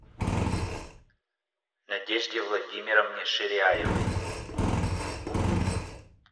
надежде владимировне ширяевой